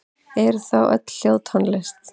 Eru þá öll hljóð tónlist?